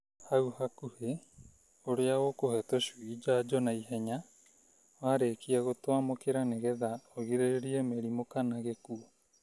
hau hakuhĩ ũrĩa ũkũhe tũcui njanjo na ihenya warĩkia gũtwamũkĩra nĩgetha ũgirĩrĩrie mĩrimũ kana gĩkuũ.